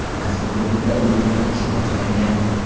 Mazkur hududda uy qurilishi boshlangan.